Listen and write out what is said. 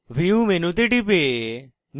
view মেনুতে টিপে